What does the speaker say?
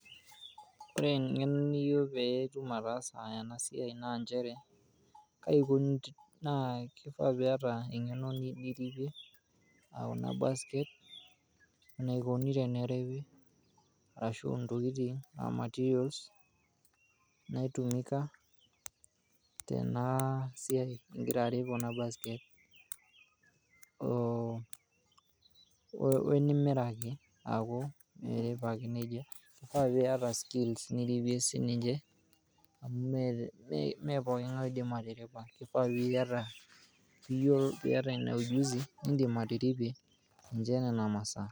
Ore eng'eno niyieu peetum ataansa ena Siaii naa nchere, Kai koni, kifaa piiyata enge'no niripie aa kuna basket naikoni teneripi arashu tokitin aa [ materials naitumika tena siaai ing'ira arip kuna basket oo wenimiraki aku mirip ake nejia kifaa piiyata skills niripie sii ninche amu mee pooki ng'ae oidim atiripa, kifaa piiyata ina ujuzi nidim atiripie ninche nena masaa.